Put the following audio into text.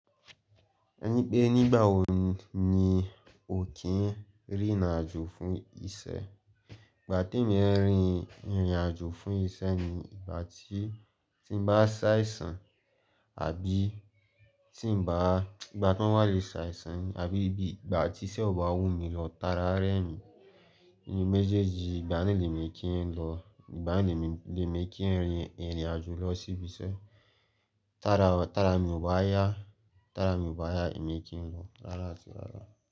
Ẹni pé nígbà wo ni o kí n rìnrìn àjò fún iṣẹ́? Ìgbà tí mo rìn, irìn àjò fún iṣẹ́ ni ìgbà tí, tí n bá ṣàìsàn àbí tí n bá, ìgbà tí n ba ti ṣàìsàn ni àbí ìgbà tí isé ò bá wù mí lọ, ta ara rẹ mi. Ní méjèèjì ìgbà ni lè mi kí n lọ, ìgbà ni lè mi, lè mi kí n rìn, Irin àjò lọ síbi iṣẹ́. Tara, tara mi ò bá yá, tara mi ò bá yá èmi kí n lọ rárá àti rárá.